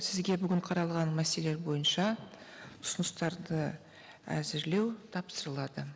сізге бүгін қаралған мәселелер бойынша ұсыныстарды әзірлеу тапсырылады